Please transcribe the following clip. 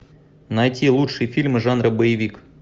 найти лучшие фильмы жанра боевик